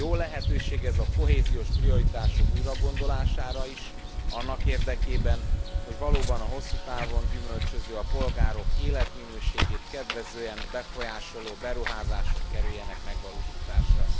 Jó lehetőség ez a kohéziós prioritások újragondolására is, annak érdekében, hogy valóban a hosszú távon gyümölcsöző, a polgárok életminőségét kedvezően befolyásoló beruházások kerüljenek megvalósításra.